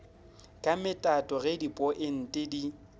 ka metato ge dipointe di